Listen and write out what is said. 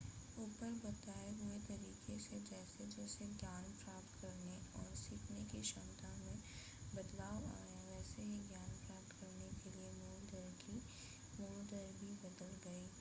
ऊपर बताए हुए तरीके से जैसे जैसे ज्ञान प्राप्त करने और सीखने की क्षमता में बदलाव आया वैसे ही ज्ञान प्राप्त करने की मूल दर भी बदल गयी